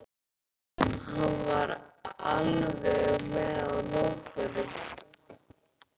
Hann var alveg með á nótunum.